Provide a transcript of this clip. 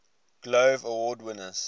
glove award winners